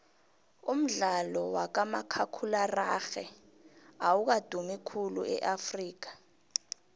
umdlalo wakamakhakhulararhwe awukadumi khulu eafrikha